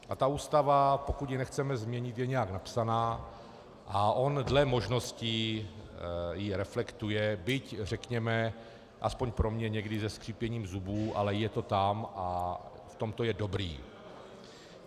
A ta Ústava, pokud ji nechceme změnit, je nějak napsaná a on dle možností ji reflektuje, byť řekněme aspoň pro mě někdy se skřípěním zubů, ale je to tam a v tom to je dobré.